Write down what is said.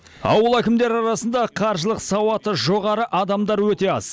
ауыл әкімдері арасында қаржылық сауаты жоғары адамар өте аз